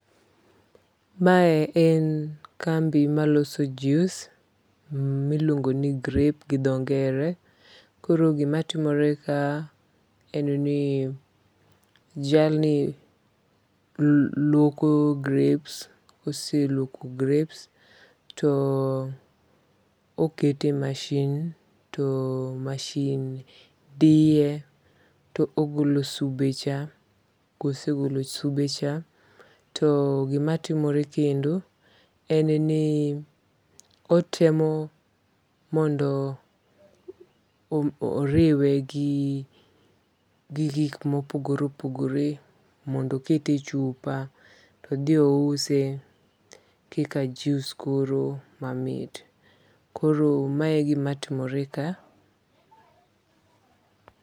Mae en kambi maloso jus miluongo ni grape gi dho ngere. Koro gimatimore ka en ni jalni luoko grapes. Koseluoko grapes to okete masin to masin diye to ogolo sube cha. Kosegolo sube cha to gimatimore kendo en ni kotemo mondo oriwe gi gik mopogore opogore mondo kete chupa to odhi ouse kaka jus koro mamit. Koro ma e gima timore ka.